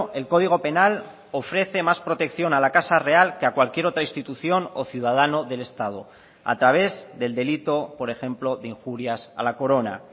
el código penal ofrece más protección a la casa real que a cualquier otra institución o ciudadano del estado a través del delito por ejemplo de injurias a la corona